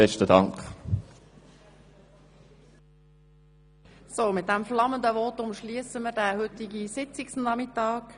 Mit diesem flammenden Votum schliessen wir den heutigen Sitzungsnachmittag.